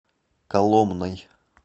коломной